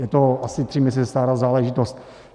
Je to asi tři měsíce stará záležitost.